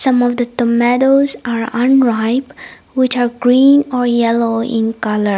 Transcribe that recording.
multi tomatoes are unripe which are green or yellow in colour.